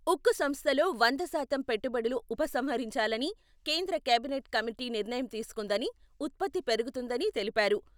ఉక్కు సంస్థలో వంద శాతం పెట్టుబడులు ఉపసంహరించాలని కేంద్ర కేబినెట్ కమిటీ నిర్ణయం తీసుకుందని ఉత్పత్తి పెరుగుతుందని తెలిపారు.